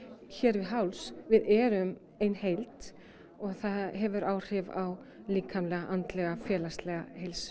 hér við háls við erum ein heild og það hefur áhrif á líkamlega andlega félagslega heilsu